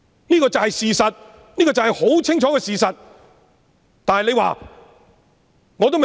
這就是事實，這就是很清楚的事實。